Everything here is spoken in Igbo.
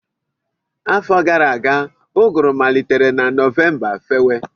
Afọ gara aga, ụgụrụ malitere na Novemba fewe